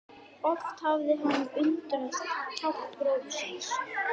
Oft hafði hann undrast kjark bróður síns.